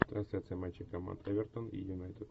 трансляция матча команд эвертон и юнайтед